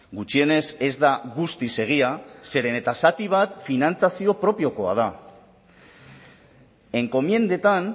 gutxienez ez da guztiz egia zeren eta zati bat finantzazio propiokoa da enkomiendetan